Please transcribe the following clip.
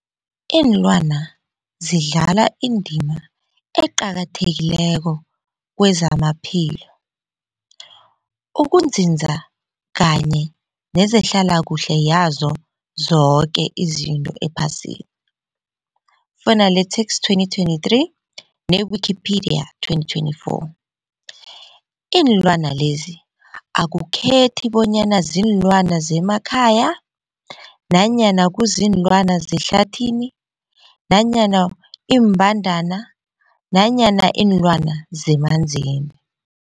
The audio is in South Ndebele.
Iinlwana zidlala indima eqakathekileko kezamaphilo, ukunzinza kanye nezehlala kuhle yazo zoke izinto ephasini, Fuanalytics 2023, ne-Wikipedia 2024. Iinlwana lezi akukhethi bonyana ziinlwana zemakhaya nanyana kuziinlwana zehlathini nanyana iimbandana nanyana iinlwana zemanzini.